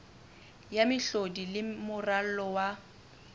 ya mehlodi le moralo wa